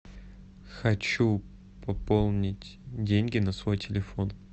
хочу пополнить деньги на свой телефон